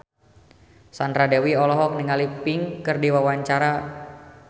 Sandra Dewi olohok ningali Pink keur diwawancara